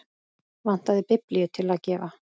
Vantaði biblíu til að gefa.